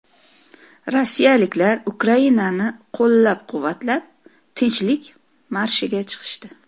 Rossiyaliklar Ukrainani qo‘llab-quvvatlab, Tinchlik marshiga chiqishdi.